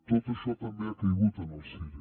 tot això també ha caigut en el cire